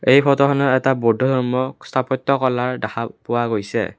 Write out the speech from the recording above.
এই ফটোখনত এটা বুদ্ধধৰ্ম স্থাপত্য কলাৰ দেখা পোৱা গৈছে।